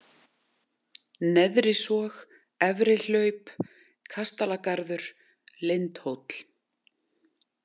Neðrisog, Efri-Hlaup, Kastalagarður, Lindhóll